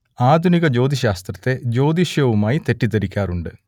ആധുനിക ജ്യോതിശ്ശാസ്ത്രത്തെ ജ്യോതിഷവുമായി തെറ്റിദ്ധരിക്കാറുണ്ട്